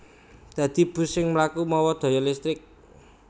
Dadi bus sing mlaku mawa daya listrik